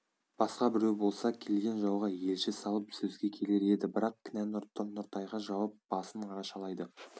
басқа біреу болса келген жауға елші салып сөзге келер еді бар кінәні нұртайға жауып басын арашалайды